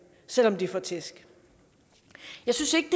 selv om de får tæsk jeg synes ikke